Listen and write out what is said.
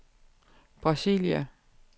Brasilia